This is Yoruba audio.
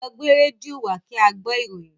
Lọ gbé rédíò wá kí á gbọ́ ìròyìn!